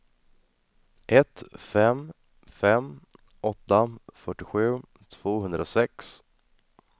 ett fem fem åtta fyrtiosju tvåhundrasex